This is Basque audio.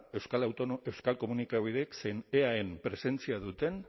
euskal komunikabideek zen eaen presentzia duten